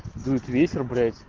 дует ветер блять